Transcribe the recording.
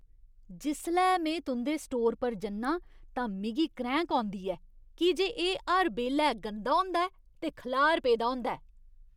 जिसलै में तुं'दे स्टोर पर जन्नां तां मिगी क्रैंह्क औंदी ऐ की जे एह् हर बेल्लै गंदा होंदा ऐ ते खलार पेदा होंदा ऐ।